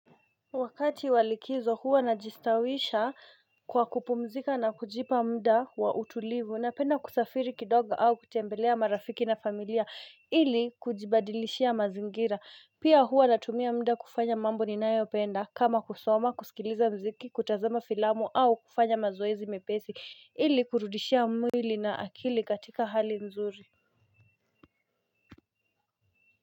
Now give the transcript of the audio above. Wakati wa likizo huwa naji stawisha kwa kupumzika na kujipa muda wa utulivu napenda kusafiri kidogo au kutembelea marafiki na familia ili kujibadilishia mazingira pia huwa natumia muda kufanya mambo ninayopenda kama kusoma, kusikiliza mziki kutazama filamu au kufanya mazoezi mepesi ili kurudishia mwili na akili katika hali nzuri.